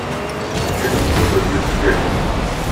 афина что такое герцеговина